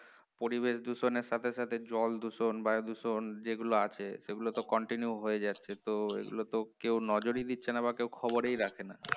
পরিবেশ দূষণের সাথে সাথে জল দূষণ বায়ু দূষণ যেগুলো আছে সেগুলো তো continue হয়ে যাচ্ছে তো এগুলো তো কেউ নজর ই দিচ্ছেন বা কেউ খবরই রাখে না